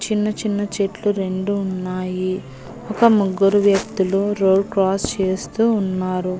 చిన్న చిన్న చెట్లు రెండు ఉన్నాయి ఒక ముగ్గురు వ్యక్తులు రోడ్ క్రాస్ చేస్తూ ఉన్నారు.